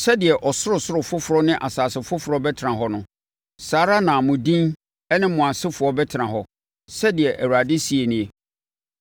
“Sɛdeɛ ɔsorosoro foforɔ ne asase foforɔ bɛtena hɔ no, saa ara na mo din ne mo asefoɔ bɛtena hɔ,” sɛdeɛ Awurade seɛ nie.